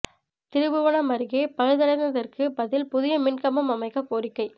திருப்புவனம் அருகே பழுதடைந்ததற்கு பதில் புதிய மின் கம்பம் அமைக்கக் கோரிக்கை